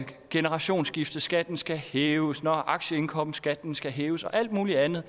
generationsskifteskatten skal hæves når aktieindkomstskatten skal hæves og alt muligt andet